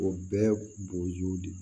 O bɛɛ bo yiriw de